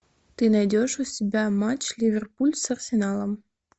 ты найдешь у себя матч ливерпуль с арсеналом